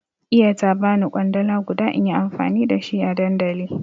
Iya ta bani kwandala guda inyi amfani da shi a dandali